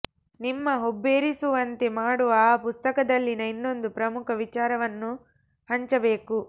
ನಿಮ್ಮ ಹುಬ್ಬೇರಿಸುವಂತೆ ಮಾಡುವ ಆ ಪುಸ್ತಕದಲ್ಲಿನ ಇನ್ನೊಂದು ಪ್ರಮುಖ ವಿಚಾರವನ್ನು ಹಂಚಬೇಕು